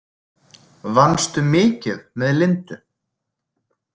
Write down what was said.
Vannstu mikið með Lindu?